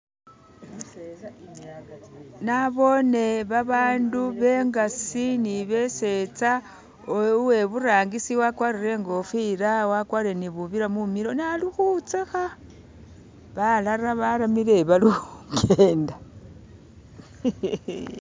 Nabone babandu be'ngasi ni besetsa, uweburangisi wakwarire ingofila wakwarire ne bubila mumilo nalikhutsakha, balala baramile barikhukenda hahaha.